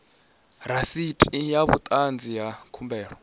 rasiti sa vhuṱanzi ha khumbelo